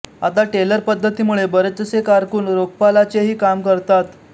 आता टेलर पद्धतीमुळे बरेचसे कारकून रोखपालाचेही काम करतात